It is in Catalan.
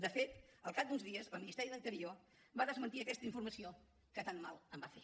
de fet al cap d’uns dies el ministeri d’interior va desmentir aquesta informació que tant mal em va fer